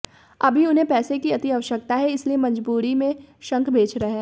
अभी उन्हें पैसे की अति आवश्यकता है इसलिए मजबूरी में शंख बेच रहे हैं